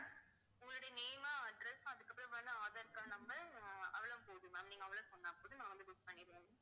உங்களோட name, address அதுக்கு அப்புறம் aadhar card number அஹ் அவ்வளவு போதும் ma'am நீங்க அவ்வளவு சொன்னா போதும் நான் வந்து book பண்ணிடுவேன்